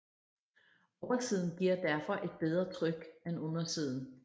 Oversiden giver derfor et bedre tryk en undersiden